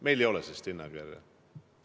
Meil ei ole sellist hinnakirja.